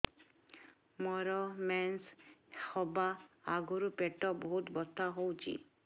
ମୋର ମେନ୍ସେସ ହବା ଆଗରୁ ପେଟ ବହୁତ ବଥା ହଉଚି